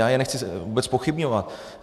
Já je nechci vůbec zpochybňovat.